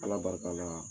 Ala barika la